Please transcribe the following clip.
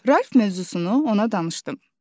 Ralf mövzusunu ona danışdım.